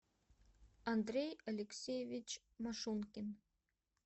андрей алексеевич машункин